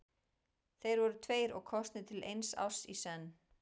Þeir voru tveir og kosnir til eins árs í senn.